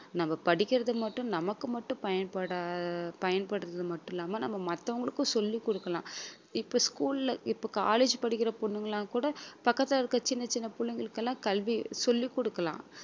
நம்ம படிக்கிறது மட்டும் நமக்கு மட்டும் பயன்பட~ பயன்படுறது மட்டும் இல்லாம நம்ம மத்தவங்களுக்கும் சொல்லிக் கொடுக்கலாம் இப்ப school ல இப்ப college படிக்கிற பொண்ணுங்க எல்லாம் கூட பக்கத்தில இருக்க சின்ன சின்னப் பிள்ளைங்களுக்கு எல்லாம் கல்வி சொல்லி கொடுக்கலாம்